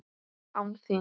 Án þín!